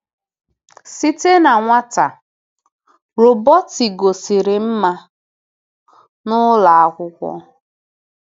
SITE na nwata, Robeti gosiri mma n’ụlọ akwụkwọ.